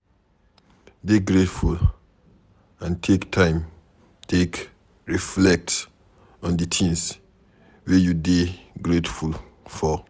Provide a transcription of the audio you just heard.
Dey grateful and take time take reflect on di things wey you dey greatful for